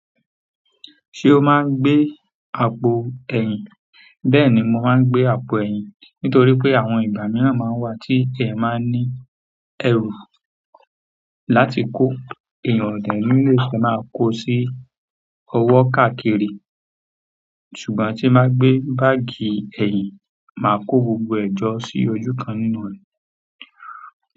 Ṣé o máa ń gbé àpò ẹ̀yìn? Bẹ́ẹ̀ni, mo máa ń gbé àpò ẹ̀yìn. Nítorí pé àwọn ìgbà mìíràn máa ń wà tí eeyan máa ní ẹrù láti kó. Eeyàn o dẹ ní le máa kó sí ọwọ́ káàkiri, ṣùgbọ́n tí n báa gbé báàgì ẹ̀yìn, máa kó gbogbo ẹ jọ́ sí ojú kan nínú rẹ̀.